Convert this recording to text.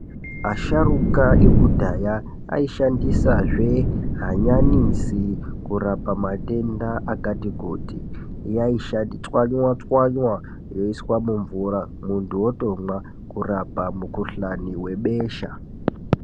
Asharuka ekudhaya aishandisazve hanyanisi kurapa matenda akatikuti, yaisha-chwanywa chanwa yoiswa mumvura muntu otomwa kurapa mukhuhlani webesha.